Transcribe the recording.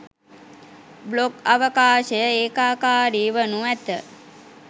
blog අවකාශය ඒකාකාරී වනු ඇත